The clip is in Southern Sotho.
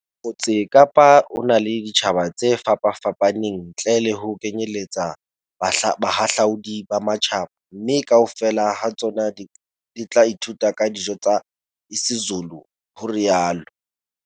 "Motse Kapa o na le ditjhaba tse fapafapaneng, ntle le ho kenyeletsa bahahlaudi ba matjhaba, mme kaofela ha tsona di tla ithuta ka dijo tsa isiZulu," o rialo